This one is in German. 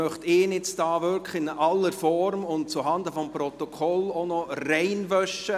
Ich möchte ihn hier in aller Form und zuhanden des Protokolls noch reinwaschen.